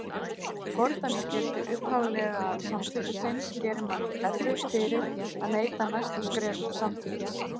Fordæmisgildi upphaflega samþykkisins gerir manni erfitt fyrir að neita næstu skrefum samþykkis.